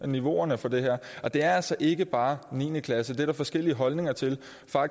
niveauerne for det her er og det er altså ikke bare niende klasse det er der forskellige holdninger til